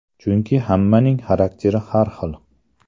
Chunki hammaning xarakteri har xil.